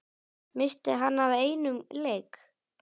missti hann af einum leik?